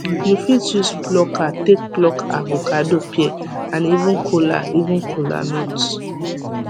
you fit use plucker take pluk avocado pear and even kola even kola nut